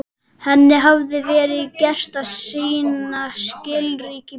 Henni hafði verið gert að sýna skilríki í prófinu.